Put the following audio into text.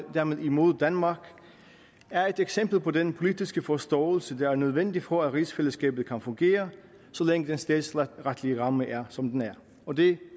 dermed imod danmark er et eksempel på den politiske forståelse der er nødvendig for at rigsfællesskabet kan fungere så længe den statsretlige ramme er som den er og det